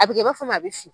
A bɛ kɛ i b'a fɔ a bɛ fin